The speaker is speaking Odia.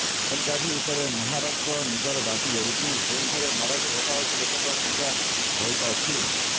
ବେଲଗାଭି ଉପରେ ମହାରାଷ୍ଟ୍ର ନିଜର ଦାବି କରୁଛି ଯେଉଁଠାରେ ମରାଠୀ ଭାଷାଭାଷୀ ଲୋକଙ୍କ ସଂଖ୍ୟା ବହୁତ ଅଛି